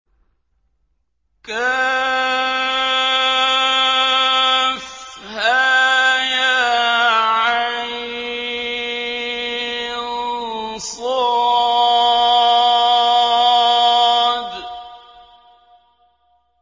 كهيعص